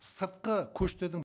сыртқы көштердің